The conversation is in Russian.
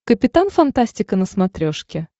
капитан фантастика на смотрешке